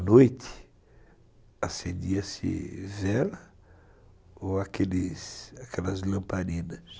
À noite, acendia-se vela ou aqueles aquelas lamparinas.